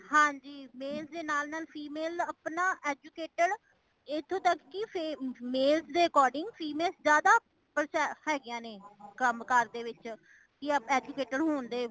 ਹਾਂਜੀ male ਦੇ ਨਾਲ ਨਾਲ female ਅਪਣਾ educated ਇਥੋਂ ਤੱਕ ਕੀ ਫੀ male ਦੇ according female ਜ਼ਿਆਦਾ ਪ ਹੇਗੀਆਂ ਨੇ ਕਾਮ ਕਾਰ ਦੇ ਵਿੱਚ ਯਾ educated ਹੋਣ ਦੇ